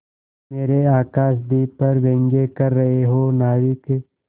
मेरे आकाशदीप पर व्यंग कर रहे हो नाविक